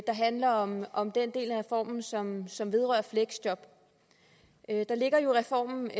handler om om den del af reformen som som vedrører fleksjob der ligger jo i reformen